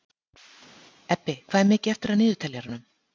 Ebbi, hvað er mikið eftir af niðurteljaranum?